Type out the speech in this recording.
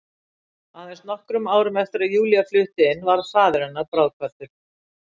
Aðeins nokkrum árum eftir að Júlía flutti inn varð faðir hennar bráðkvaddur.